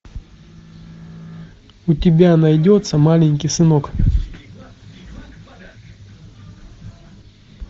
у тебя найдется маленький сынок